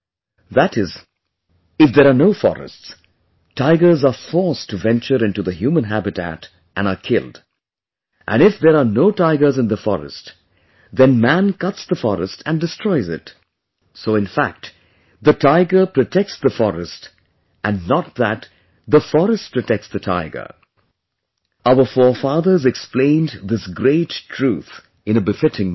That is, if there are no forests, tigers are forced to venture into the human habitat and are killed, and if there are no tigers in the forest, then man cuts the forest and destroys it, so in fact the tiger protects the forest and not that the forest protects the tiger our forefathers explained this great truth in a befitting manner